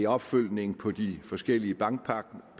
opfølgning på de forskellige bankpakker